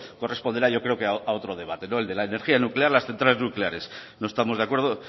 corresponderá yo creo que a otro debate el de la energía nuclear las centrales nucleares no estamos de acuerdo